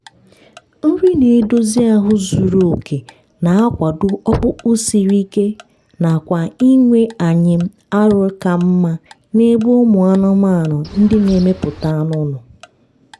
nri na-edozi ahụ zuru oke na-akwado ọkpụkpụ siri ike na kwa inwe anyịm arọ ka mma n’ebe ụmụ anụmanụ ndị na-emepụta anụ nọ.